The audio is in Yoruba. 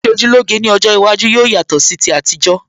Ìṣojúlóge ní ọjọ́ iwájú yóò yatọ̀ sí ti àtijọ́